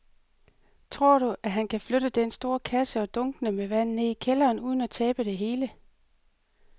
Tror du, at han kan flytte den store kasse og dunkene med vand ned i kælderen uden at tabe det hele?